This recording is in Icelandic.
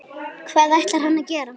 Hvað ætlar hann að gera?